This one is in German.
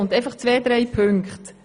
Zwei, drei Punkte greife ich noch auf.